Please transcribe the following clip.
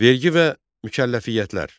Vergi və mükəlləfiyyətlər.